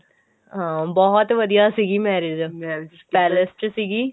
ਹਾਂ ਬਹੁਤ ਵਧੀਆਂ ਸੀਗੀ marriage marriage palace ਚ ਸੀਗੀ